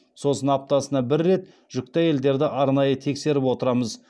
сосын аптасына бір рет жүкті әйелдерді арнайы тексеріп отырамыз